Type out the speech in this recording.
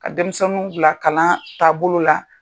Ka denmisɛnninw bila kalan taa bolo la.